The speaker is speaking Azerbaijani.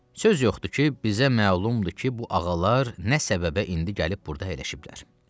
Söz yoxdur ki, bizə məlumdur ki, bu ağalar nə səbəbə indi gəlib burda əyləşiblər.